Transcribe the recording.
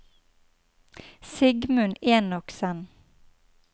Sigmund Enoksen